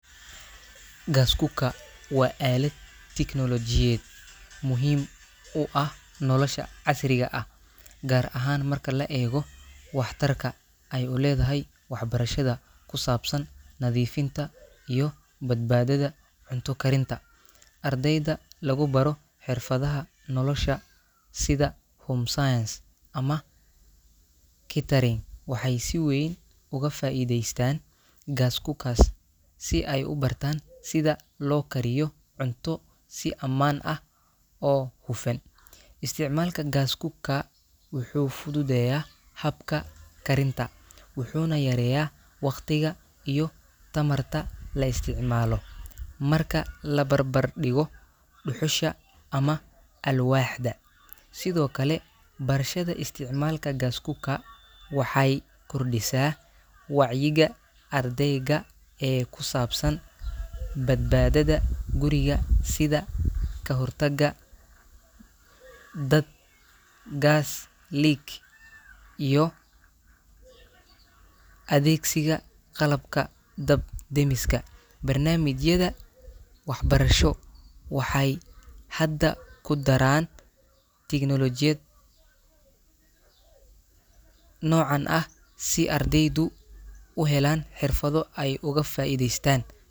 Gas cooker waa alad tecnolojiyaad muhiim u ah nolosha casriga ah gar ahan marka la ego wax tarka ee u ledhahay wax barashaada kusabsan nadhifinta iyo badbadada cunto karinta, ardeyda lagu baro xirfaadaha nolosha sitha home science ama kitty ee si weyn oga faideystan gas cookers si ee ubartan sitha lokariyo cunto si aman ah oo gufan, isticmalka gas cooker wuxuu fududeya habka karinta wuxuna yareya waqtiga iyo tamarta laisticmalo, marka labar bar digo duxusha ama alwaxda sithokale marashaada isticmalka gas cooker waxee kordisa wacyiga ardeyga ee kusabsan bad badadha guriga sitha kahortaga dad gas lig iyo adhegsiga qalabka dab damiska barnamijka wax barasho waxee tecnolojiyaad nocan ah si ardeydu uga faidhestan.